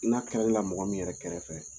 I n'a la mɔgɔ min yɛrɛ kɛrɛfɛ.